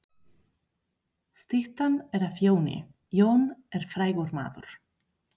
Styttan er af Jóni. Jón er frægur maður.